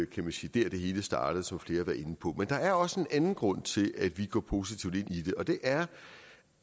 kan man sige det hele startede som flere var inde på men der er også en anden grund til at vi går positivt ind i det og det er